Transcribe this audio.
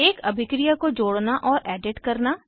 एक अभिक्रिया को जोड़ना और एडिट करना